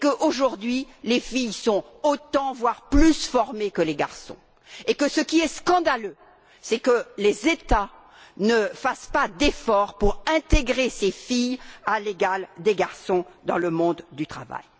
Aujourd'hui, les filles sont autant, voire plus, formées que les garçons. Ce qui est scandaleux, c'est que les États ne fassent pas d'efforts pour intégrer ces filles, à l'égal des garçons, dans le monde du travail.